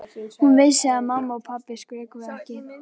Hún vissi að mamma og pabbi skrökvuðu ekki.